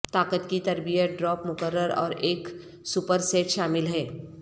طاقت کی تربیت ڈراپ مقرر اور ایک سپر سیٹ شامل ہے